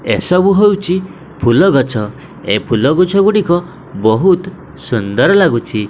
ଏ ସବୁ ହଉଚି ଫୁଲଗଛ ଏ ଫୁଲଗଛ ଗୁଡ଼ିକ ବୋହୁତ୍ ସୁନ୍ଦର ଲାଗୁଛି।